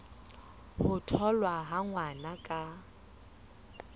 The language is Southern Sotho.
ho tholwa ha ngwana ka